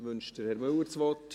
Wünscht Herr Müller das Wort?